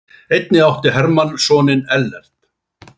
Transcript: Einnig átti Hermann soninn Ellert.